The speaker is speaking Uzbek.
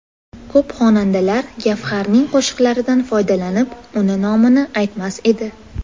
Ko‘p xonandalar Gavharning qo‘shiqlaridan foydalanib, uni nomini aytmas edi.